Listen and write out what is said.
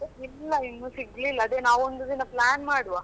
ಇಲ್ಲ ಇನ್ನು ಸಿಗಲಿಲ್ಲಾ ಅದೇನಾವು ಒಂದು ದಿನ plan ಮಾಡುವ.